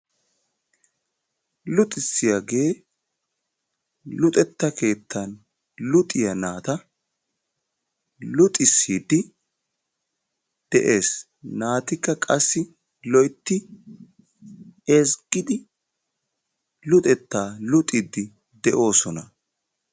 Luxissiyaagee luxetta keettan luxiyaa naata luxisiidi de'ees. naatikka qassi loyttidi ezggidi luxettaa luxiidi de'oosona.